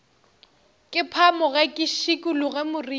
ke phamoge ke šikologe moriti